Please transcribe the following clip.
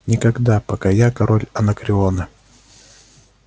никогда пока я король анакреона